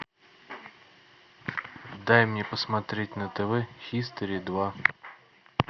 дай мне посмотреть на тв хистори два